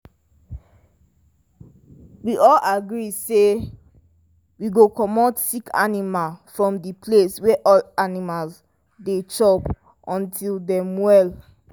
we all agree say we go comot sick animal from the place wey all animal dey chop until dem well.